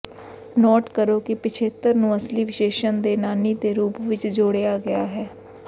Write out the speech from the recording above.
note ਕਰੋ ਕਿ ਪਿਛੇਤਰ ਨੂੰ ਅਸਲੀ ਵਿਸ਼ੇਸ਼ਣ ਦੇ ਨਾਨੀ ਦੇ ਰੂਪ ਵਿਚ ਜੋੜਿਆ ਗਿਆ ਹੈ